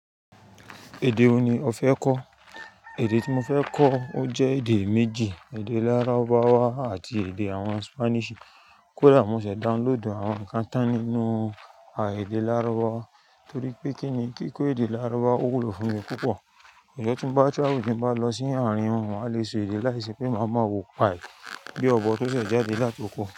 Èdè wo ni o fẹ́ kọ́? Èdè tí mo fẹ́ kọ́ ó jẹ́ èdè méjì; èdè lárúbáwá àti èdè àwọn Spanish. Kódà mo sè download àwọn kántán nínú àì èdè lárúbáwá torí pé kí ni kí kó èdè lárúbáwá ó wúlò fún mi púpọ̀. Ìjo tín bá travel tín bá lọ sí ààrin wọn, maá le sọ èdè láìṣe pé máa ma wo pie bí ọ̀bọ tó ṣẹ̀ jáde látokò.